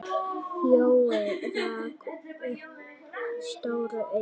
Jói rak upp stór augu.